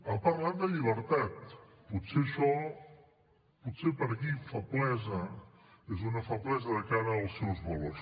ha parlat de llibertat potser això per aquí feblesa és una feblesa de cara als seus valors